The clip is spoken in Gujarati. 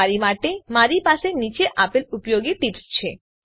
તમારી માટે મારી પાસે નીચે આપેલ ઉપયોગી ટીપ્સ છે